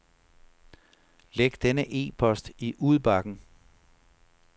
Læg denne e-post i udbakken.